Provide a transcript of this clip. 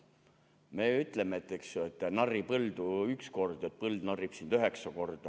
Me ütleme, et narri põldu üks kord, põld narrib sind üheksa korda.